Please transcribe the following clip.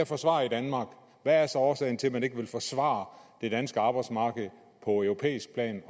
forsvare i danmark hvad er så årsagen til at man ikke vil forsvare det danske arbejdsmarked på europæisk plan